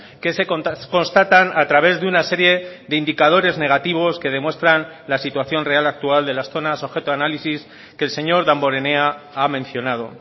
que se constatan a través de una serie de indicadores negativos que demuestran la situación real actual de las zonas objeto de análisis que el señor damborenea ha mencionado